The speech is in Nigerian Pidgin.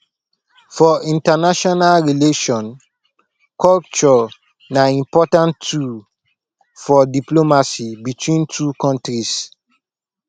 for international relation culture na important tool for diplomacy between two countries